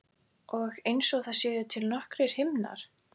Og einsog það séu til nokkrir himnar.